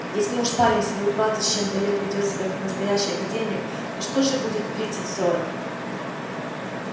если уж парень в свои двадцать с чем-то лет ведёт себя как настоящий академик то что же будет в тридцать-сорок